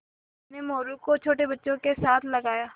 उन्होंने मोरू को छोटे बच्चों के साथ लगाया